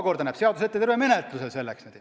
Seadus näeb selleks puhuks ette terve menetluskorra.